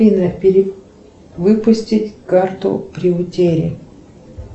афина перевыпустить карту при утере